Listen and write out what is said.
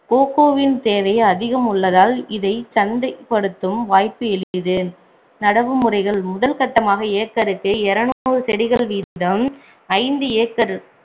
கோகோவின் தேவை அதிகம் உள்ளதால் இதைச் சந்தைப்படுத்தும் வாய்ப்பு எளிது நடவு முறைகள் முதல்கட்டமாக ஏக்கருக்கு இருநூறு செடிகள் வீதம் ஐந்து acre